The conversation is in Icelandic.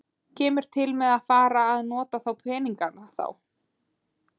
Kemur til með að fara að nota þá peninga þá?